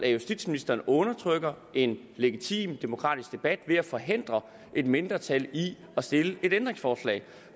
at justitsministeren undertrykker en legitim demokratisk debat ved at forhindre et mindretal i at stille et ændringsforslag